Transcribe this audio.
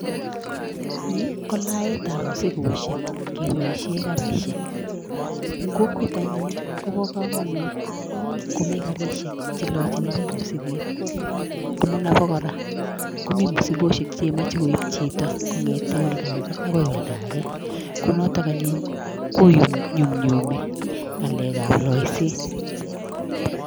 Ni ko laetab muzikosiek keboisie garisiek, ing kokwet anyun kobo kamanut komi garisiek che lochini piich muziket amun abo kora, komi muzikosiek chemache koip chito kongete olda age akoi olda age, ko notok anyun konyumnyumi ngalekab loiset.